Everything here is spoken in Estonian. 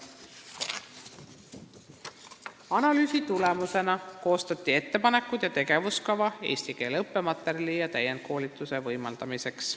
Analüüsi tulemusena koostati ettepanekud ja tegevuskava, et võimaldada eesti keele õppematerjale ja täienduskoolitust lasteaiaõpetajatele.